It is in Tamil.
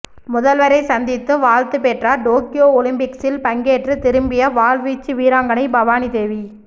முதல்வரை சந்தித்து வாழ்த்து பெற்றார் டோக்கியோ ஒலிம்பிக்ஸில் பங்கேற்று திரும்பிய வாள்வீச்சு வீராங்கனை பவானி தேவி